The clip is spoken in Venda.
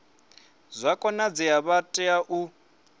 zwa konadzea vha tea u